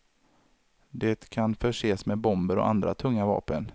Det kan förses med bomber och andra tunga vapen.